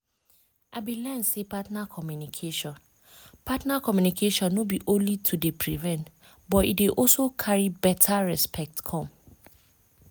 i been learn say partner communication partner communication no be only to dey prevent but e dey also carry beta respect come